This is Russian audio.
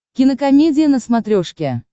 кинокомедия на смотрешке